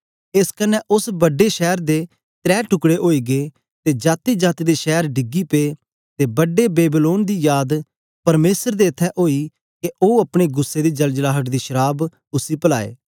एस कन्ने उस्स बड्डे शैर दे त्रै टुकड़े ओई गै ते जातीजाती दे शैर डिगी पे ते बड्डे बेबीलोन दी याद परमेसर दे इत्थैं ओई के ओ अपने गुस्सै दी जलजलाहट दी शराव उसी पलाए